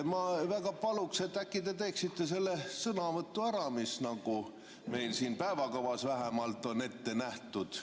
Ma väga paluksin, et äkki te teeksite selle sõnavõtu ära, mis meil siin päevakavas vähemalt on ette nähtud.